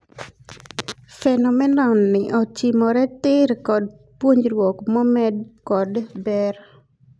Phenomenon ni ochimore tiir kod puonjruok momed kod ber.